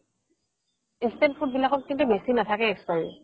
instant food বিলাকত কিন্তু বেচি নাথাকে expiry